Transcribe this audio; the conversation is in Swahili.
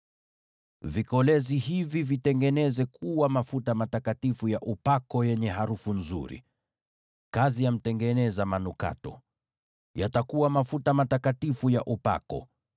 Vitengeneze vikolezi hivi kuwa mafuta matakatifu ya upako yenye harufu nzuri, kazi ya mtengeneza manukato. Yatakuwa mafuta matakatifu ya upako.